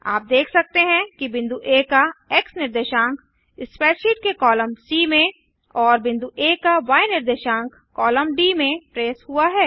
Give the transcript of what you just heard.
आप देख सकते हैं कि बिंदु आ का एक्स निर्देशांक स्प्रैडशीट के कॉलम सी में और बिंदु आ का य निर्देशांक कॉलम डी में ट्रेस हुआ है